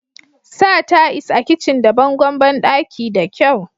sa ta'is a kicin da bangon bandaki da kyau